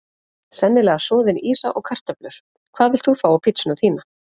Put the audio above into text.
sennilega soðin ýsa og kartöflur Hvað vilt þú fá á pizzuna þína?